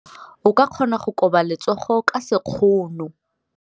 O ka kgona go koba letsogo ka sekgono.